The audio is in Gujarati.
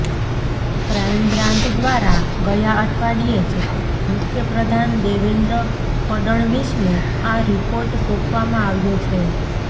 ક્રાઇમ બ્રાન્ચ દ્વારા ગયા અઠવાડિયે જ મુખ્યપ્રધાન દેવેન્દ્ર ફડણવીસને આ રિપોર્ટ સોંપવામાં આવ્યો છે